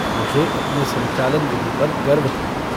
मुझे अपनी संचालन-विधि पर गर्व था।